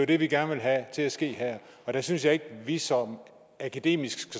det vi gerne vil have til at ske her og der synes jeg ikke at vi så akademisk